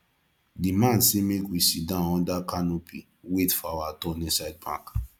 the man say make we sit down under canopy wait for our turn inside bank